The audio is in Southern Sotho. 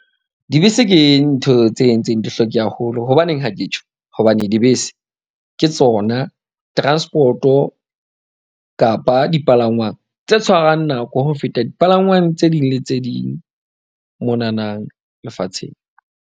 Dibese ke ntho tse entseng di hloke haholo. Hobaneng ha ke tjho? Hobane dibese ke tsona transport-o kapa dipalangwang tse tshwarang nako ho feta dipalangwang tse ding le tse ding monanang lefatsheng.